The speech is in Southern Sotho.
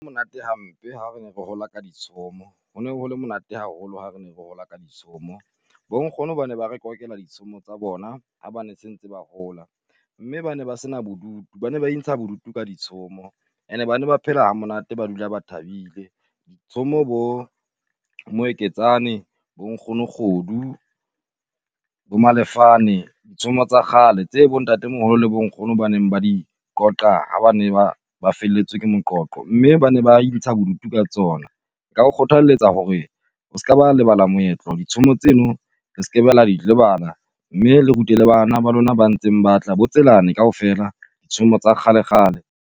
Monate hampe ha re re hola ka ditshomo hone ho le monate haholo ha re ne re hola ka ditshomo. Bo nkgono bane ba re ditshomo tsa bona ha ba ne sentse ba hola, mme bane ba sena bodutu. Bane ba intsha bodutu ka ditshomo, and-e bane ba phela ha monate ba dula ba thabile. Ditshomo bo Moeketsane, bo Nkgono kgodu, bo Malefane, tshomo tsa kgale tse bo ntate moholo le bo nkgono ba neng ba di qoqa ha bane ba ba felletswe ke moqoqo, mme bane ba intsha bodutu ka tsona. Nka o kgothaletsa hore o skaba lebala moetlo ditshomo tseno se ke be la di lebala mme le rute le bana ba lona ba ntseng ba tla bo Tselane kaofela. Tshomo tsa kgale kgale.